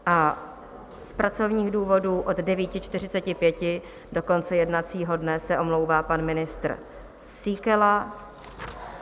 A z pracovních důvodů od 9.45 do konce jednacího dne se omlouvá pan ministr Síkela.